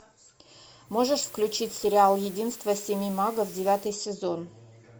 можешь включить сериал единство семи магов девятый сезон